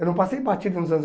Eu não passei batido nos anos